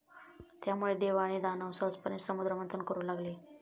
त्यामुळे देव आणि दानव सहजपणे समुद्रमंथन करू लागले